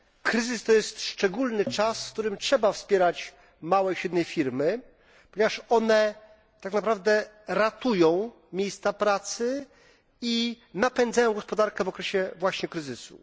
Kryzys to szczególny czas, w którym trzeba wspierać małe i średnie firmy, ponieważ to one tak naprawdę ratują miejsca pracy i napędzają gospodarkę właśnie w okresie kryzysu.